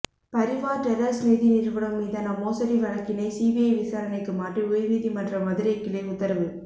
பரிவார் டெரர்ஸ் நிதி நிறுவனம் மீதான மோசடி வழக்கினை சிபிஐ விசாரணைக்கு மாற்றி உயர்நீதிமன்ற மதுரைக்கிளை உத்தரவு